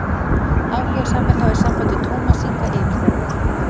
Áhugasamir hafi samband við Tómas Inga yfirþjálfara.